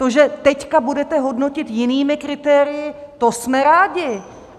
To, že teď budete hodnotit jinými kritérii, to jsme rádi.